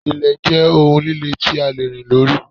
Ilẹ̀ jẹ́ ohun líle tí a lè rìn lórí.